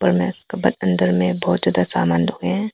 अंदर में बहुत ज्यादा सामान रखे हैं।